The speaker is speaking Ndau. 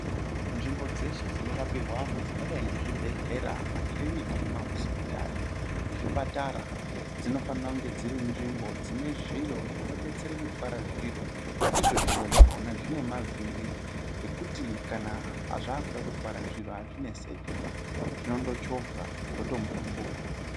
Nzvimbo dzeshe dzinorapirwe antu dzakadai ngezvibhedhlera, makiriniki nemahosipitari, nezvipatara dzinofane kunge dzirinzvimbo dzinezviro zvinodetsere kutwara zviro, izvo zviro zvakhona zvine mavhiri ekuti kana zvakude kutwara zviro, hazvinesekiba, zvino ndochovhwa zvoto mburumbuka.